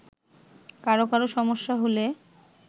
কারো কারো সমস্যা হলে